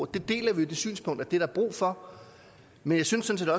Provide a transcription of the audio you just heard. deler det synspunkt at det er der brug for men jeg synes sådan